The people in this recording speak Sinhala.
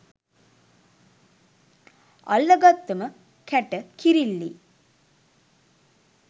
අල්ල ගත්තම කැට කිරිල්ලී